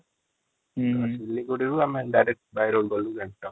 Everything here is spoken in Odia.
ହଁ ଆମେ ଡରିରେକ୍ଟ ଗଲୁ ଗ୍ଯାଂଟକ |